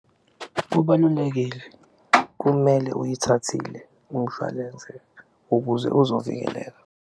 Kubalulekile kumele uyithathile umshwalense ukuze uzovikeleka.